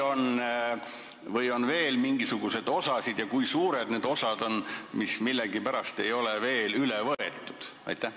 Kas on veel mingisuguseid osasid ja kui on, siis kui suured need osad on, mis millegipärast ei ole veel üle võetud?